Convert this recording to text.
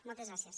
moltes gràcies